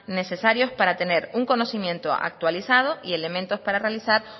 necesarios para tener un conocimiento actualizado y elementos para realizar